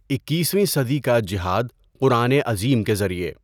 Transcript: اکیسویں صدی کا جہاد قرآن عظیم کے ذریعہ